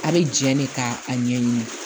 A bɛ jɛn de ka a ɲɛɲini